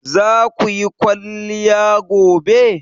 Zaku yi kwaliya gobe?